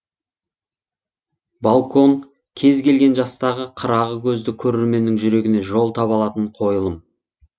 балкон кез келген жастағы қырағы көзді көрерменнің жүрегіне жол таба алатын қойылым